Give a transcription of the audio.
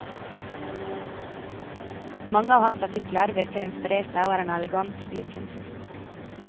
Mange av hans artikler virker inspirerte og er en elegant stilkunst.